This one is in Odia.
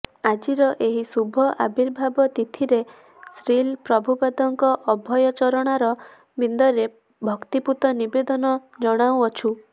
ଆଜିର ଏହି ଶୁଭ ଆବିର୍ଭାବ ତିଥିରେ ଶ୍ରୀଲ ପ୍ରଭୁପାଦଙ୍କର ଅଭୟ ଚରଣାର ବିନ୍ଦରେ ଭକ୍ତିପୂତ ନିବେଦନ ଜଣାଉଅଛୁଁ